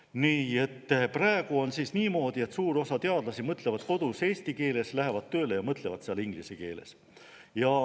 Praegu on niimoodi, et suur osa teadlasi mõtlevad kodus eesti keeles, lähevad tööle ja mõtlevad seal inglise keeles.